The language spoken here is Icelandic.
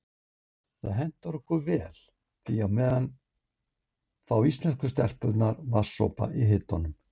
Það hentar okkur vel því á meðan fá íslensku stelpurnar vatnssopa í hitanum.